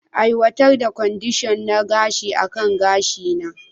Aiwatar da kwadishon na gashi akan gashina.